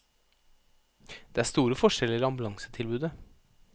Det er store forskjeller i ambulansetilbudet.